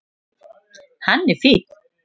Hann er fínn.